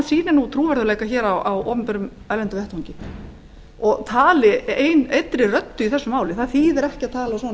sýni trúverðugleika á erlendum vettvangi og tali einni röddu í þessu máli það þýðir ekki að tala